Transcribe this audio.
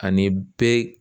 Ani be